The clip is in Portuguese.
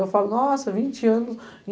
Eu falo, nossa, vinte anos.